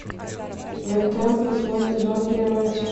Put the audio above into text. готэм восьмой сезон первая часть